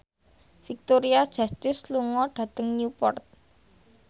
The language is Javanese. Victoria Justice lunga dhateng Newport